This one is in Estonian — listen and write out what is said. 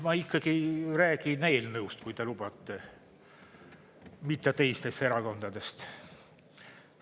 Ma ikkagi räägin eelnõust, kui te lubate, mitte teistest erakondadest.